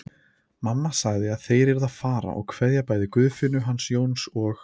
Mamma sagði að þeir yrðu að fara og kveðja bæði Guðfinnu hans Jóns og